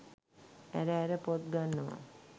ඇර ඇර පොත් ගන්නවා.